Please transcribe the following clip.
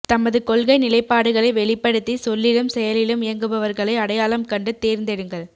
தமது கொள்கை நிலைப்பாடுகளை வெளிப்படுத்தி சொல்லிலும் செயலிலும் இயங்குபவர்களை அடையாளம் கண்டு தேர்ந்தெடுங்கள்